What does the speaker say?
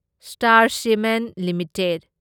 star Cement limited